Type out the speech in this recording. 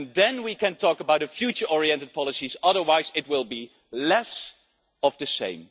Then we can talk about future oriented policies otherwise, it will be less of the same.